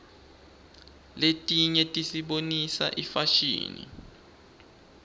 letinye tisibonisa ifashini